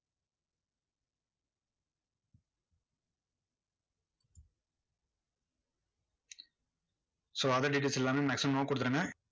so other details எல்லாமே maximum no கொடுத்துருங்க.